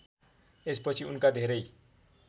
यसपछि उनका धेरै